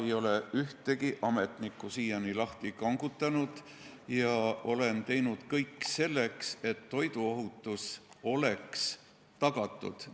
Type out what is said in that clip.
Ma ei ole ühtegi ametnikku siiani lahti kangutanud ja olen teinud kõik selleks, et toiduohutus oleks tagatud.